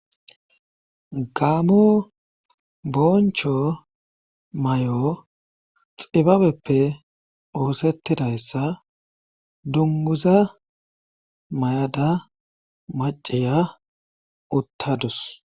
gaamo boncho may7o xibabeppe oosettidayssa dunguza may7ada maciya uttadus